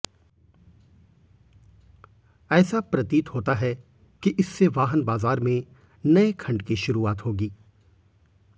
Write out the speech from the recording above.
ऐसा प्रतीत होता है कि इससे वाहन बाजार में नए खंड की शुरुआत होगी